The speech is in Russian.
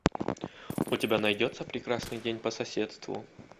у тебя найдется прекрасный день по соседству